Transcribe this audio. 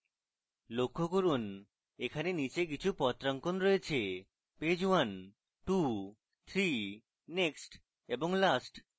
লক্ষ্য করুন এখানে নীচে কিছু পত্রাঙ্কন রয়েছেপেজ 123 next এবং last